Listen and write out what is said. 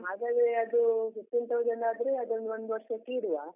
ಹಾಗಾದ್ರೆ ಅದು fifteen thousand ಆದ್ರೆ ಅದನ್ನು ಒಂದು ವರ್ಷಕ್ಕೆ ಇಡುವಾ.